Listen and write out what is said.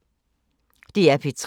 DR P3